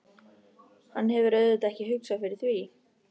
Hann hefur auðvitað ekki hugsað fyrir því?